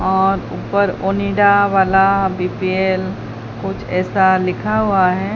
और ऊपर ओनिडा वाला बी_पी_एल कुछ ऐसा लिखा हुआ है।